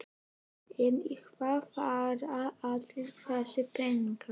En í hvað fara allir þessir peningar?